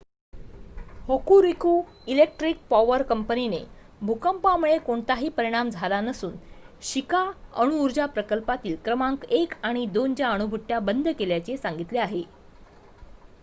Hokuriku electric power कंपनीने भूकंपामुळे कोणताही परिणाम झाला नसून शिका अणुऊर्जा प्रकल्पातील क्रमांक १ आणि २ च्या अणुभट्ट्या बंद केल्याचे सांगितले आहे